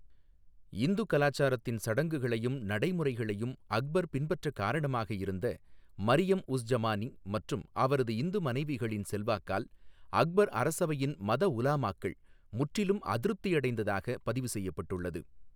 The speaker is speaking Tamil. இந்து கலாசாரத்தின் சடங்குகளையும் நடைமுறைகளையும் அக்பர் பின்பற்றக் காரணமாக இருந்த மரியம் உஸ் ஜமானி மற்றும் அவரது இந்து மனைவிகளின் செல்வாக்கால் அக்பர் அரசவையின் மத உலமாக்கள் முற்றிலும் அதிருப்தி அடைந்ததாகப் பதிவு செய்யப்பட்டுள்ளது.